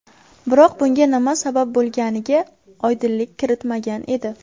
Biroq bunga nima sabab bo‘lganiga oydinlik kiritmagan edi.